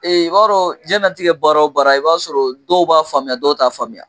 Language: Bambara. i b'a dɔn diɲɛnatigɛ baara o baara i b'a sɔrɔ dɔw b'a faamuya dɔw t'a faamuya.